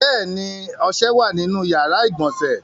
Bẹ́ẹ̀ ni, ọṣẹ wà nínú ìyàrá-ìgbọ̀nsẹ̀.